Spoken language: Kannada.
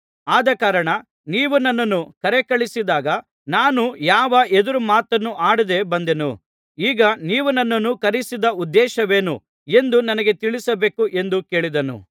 ಆದಕಾರಣ ನೀವು ನನ್ನನ್ನು ಕರೆಕಳುಹಿಸಿದಾಗ ನಾನು ಯಾವ ಎದುರುಮಾತನ್ನೂ ಆಡದೆ ಬಂದೆನು ಈಗ ನೀವು ನನ್ನನ್ನು ಕರೆಯಿಸಿದ ಉದ್ದೇಶವೇನು ಎಂದು ನನಗೆ ತಿಳಿಸಬೇಕು ಎಂದು ಕೇಳಿದನು